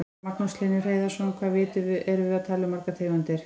Magnús Hlynur Hreiðarsson: Hvað erum við að tala um margar tegundir?